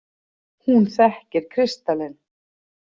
Hún þekkir kristalinn.